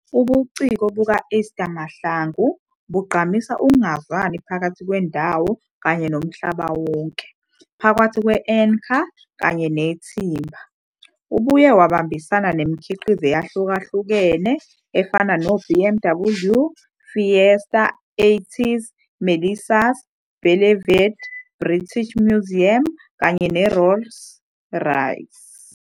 Ubuciko buka-Esther Mahlangu bugqamisa ukungezwani phakathi kwendawo kanye nomhlaba wonke, phakathi kwe-anchor kanye nethimba. Ubuye wabambisana nemikhiqizo eyahlukene efana neBMW, Fiat, EYTYS, Melissa's, Beleverde, British Museum kanye neRolls-Royce.